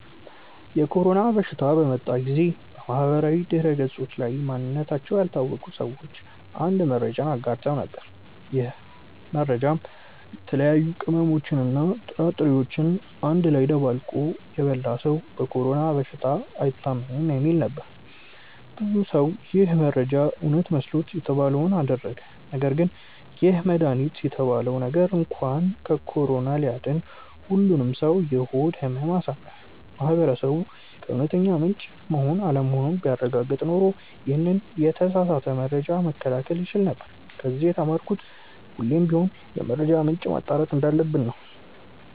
የኮሮና በሽታ በመጣ ጊዜ በማህበራዊ ድህረገጾች ላይ ማንነታቸው ያልታወቀ ሰዎች አንድ መረጃን አጋርተው ነበር። ይህ መረጃም የተለያዩ ቅመሞችን እና ጥራጥሬዎችን አንድ ላይ አደባልቆ የበላ ሰው በኮሮና በሽታ አይታምም የሚል ነበር። ብዙ ሰው ይህ መረጃ እውነት መስሎት የተባለውን አደረገ ነገርግን ይህ መድሃኒት የተባለው ነገር እንኳን ከኮሮና ሊያድን ሁሉንም ሰው የሆድ ህመም አሳመመ። ማህበረሰቡ ከእውነተኛ ምንጭ መሆን አለመሆኑን ቢያረጋግጥ ኖሮ ይሄንን የተሳሳተ መረጃ መከላከል ይቻል ነበር። ከዚ የተማርኩት ሁሌም ቢሆን የመረጃ ምንጭን ማጣራት እንዳለብን ነው።